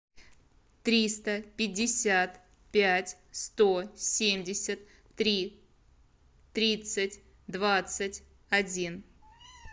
триста пятьдесят пять сто семьдесят три тридцать двадцать один